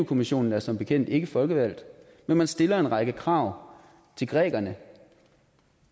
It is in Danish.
kommissionen er som bekendt ikke folkevalgt men man stiller en række krav til grækerne